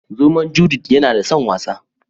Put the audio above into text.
Zomon " Judith " yana da son wasa.